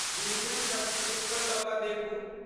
Premium subscription लऽ कऽ देखू।